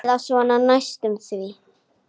Eða svona næstum því.